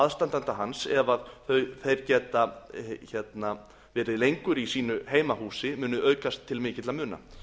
aðstanda hans ef þeir geta verið lengur í sínu heimahúsi muni aukast til mikilla muna